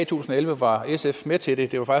tusind og elleve var sf med til det det var